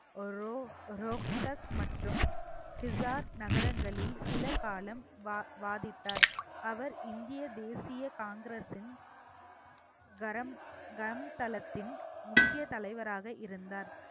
row~ Rohtak மற்றும் சிசார்த் நகரங்களில் சில காலம் வா~ வாதித்தார் அவர் இந்திய தேசிய காங்கிரஸின் கரம் கரம் தளத்தின் முக்கிய தலைவராக இருந்தார்